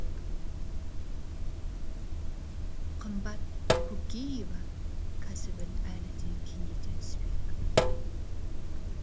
қымбат кокиева кәсібін әлі де кеңейте түспек